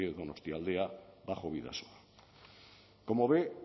de donostialdea bajo bidasoa como ve